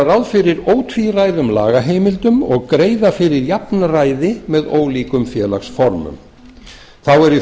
ráð fyrir ótvíræðum lagaheimildum og greiða fyrir jafnræði með ólíkum félagsformum þá eru í